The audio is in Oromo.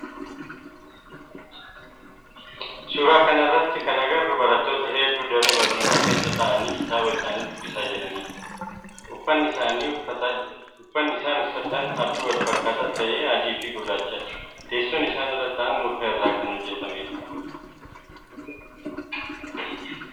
Suuraa kana irratti kan agarru barattoota heddu daree barnootaa keessa ta'aanii kitaaba isaanii dubbisaa jiranidha. Uffanni isaan uffatan halluu walfakkaataa ta'e adii fi gurraachadha. Teessoon isaan irra ta'aan muka irraa kan hojjetamedha.